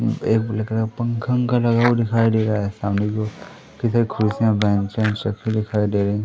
एक black colour का पंखा वनखा लगा हुआ दिखाई दे रहा है। सामने की ओर इधर कुर्सियां बैंच हैं सबकी दिखाई दे रही--